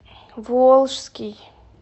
волжский